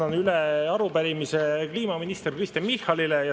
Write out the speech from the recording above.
Annan üle arupärimise kliimaminister Kristen Michalile.